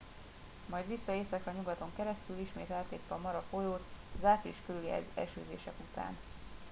majd vissza északra nyugaton keresztül ismét átlépve a mara folyót az április körüli esőzések után